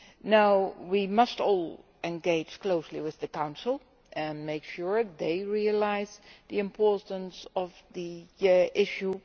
Now we must all engage closely with the Council and make sure they realise the importance of the issue.